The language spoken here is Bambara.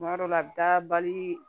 Tuma dɔw la a bɛ taa bali